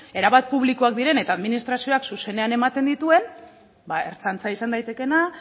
erabat publikoak diren eta administrazioak zuzenean ematen dituen ba ertzaintza izan daitekeena